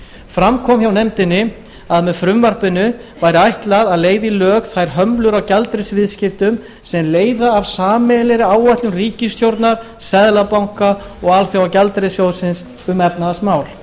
fram kom hjá nefndinni að með frumvarpinu væri ætlað að leiða í lög þær hömlur á gjaldeyrisviðskiptum sem leiða af sameiginlegri áætlun ríkisstjórnar seðlabanka og alþjóðagjaldeyrissjóðsins um efnahagsmál